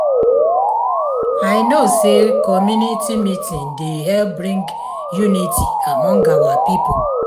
i no say community meeting dey help bring unity among our pipo